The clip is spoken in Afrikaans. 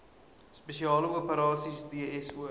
spesiale operasies dso